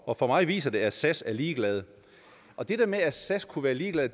og for mig viser det at sas er ligeglade det der med at sas kunne være ligeglade